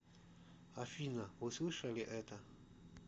афина вы слышали это